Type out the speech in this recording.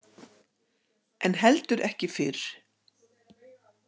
En heldur ekki fyrr.